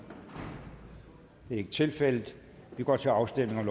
det er ikke tilfældet og vi går til afstemning